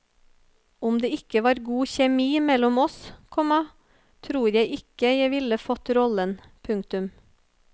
Om det ikke var god kjemi mellom oss, komma tror jeg ikke jeg ville fått rollen. punktum